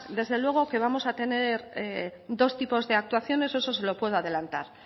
desde luego que vamos a tener dos tipos de actuaciones eso se lo puedo adelantar